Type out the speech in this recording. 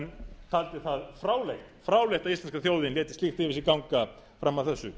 en taldi það fráleitt að íslenska þjóðin léti slíkt yfir sig ganga fram að þessu